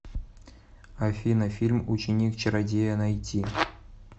афина фильм ученик чародея найти